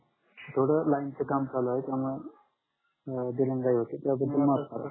थोड लाईनच काम चालू आहे त्यामूळे दिरंगाई होते त्याबदल माफ करा